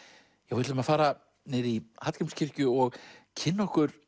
við ætlum að fara niður í Hallgrímskirkju og kynna okkur